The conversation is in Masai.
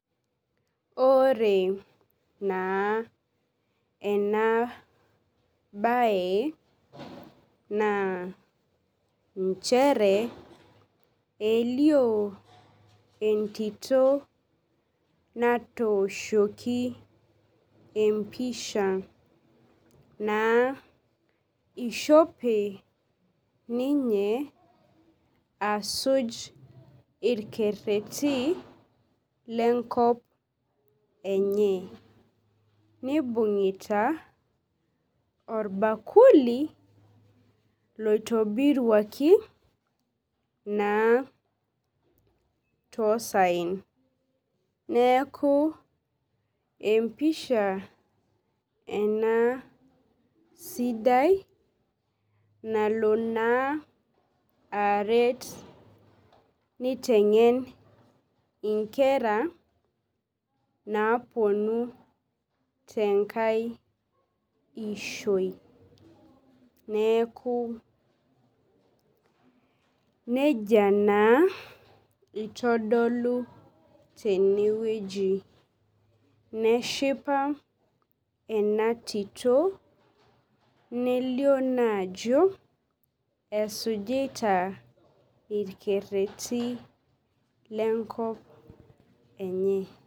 Ore naa enabae na nchere elio entito natooshoki empisha na ishope ninye asujn irkererin lenkop enye nibungita orbakuli loitobiruaki na tosaen neaku empisha ena sidai nalo na aaret nitengen nkera naponu tenkai ishoi neaku nejia naa itodolu tenewueji neshipa ena tito nelio ajo esujita irkererin lenkop enye.